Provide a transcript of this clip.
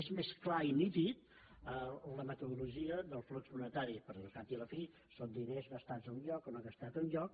és més clara i nítida la metodologia del flux monetari perquè al cap i la fi són diners gastats a un lloc o no gastats a un lloc